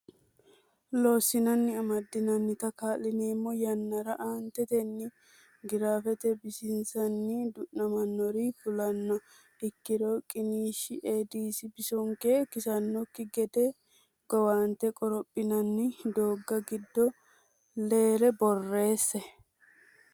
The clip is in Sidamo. Loossinanni amadantinota kaa lineemmo yannara aantetenni giraafete bisinsanni du namannori fulannoha ikkiro qiniishshi Eedisi bisonke kisannokki gede gowaante qorophinanni doogga giddonni leere borreesse.